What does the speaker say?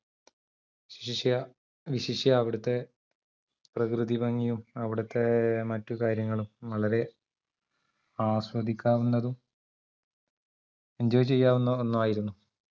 വിശിഷ്യ വിശിഷ്യാ അവിടത്തെ പ്രകൃതിഭംഗിയും അവിടത്തെ മറ്റുകാര്യങ്ങളും വളരെ ആസ്വദിക്കാവുന്നതും enjoy ചെയ്യാവുന്ന ഒന്നായിരുന്നു